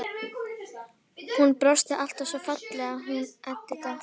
Hún brosti alltaf svo fallega, hún Edita.